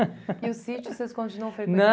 E o sítio vocês continuam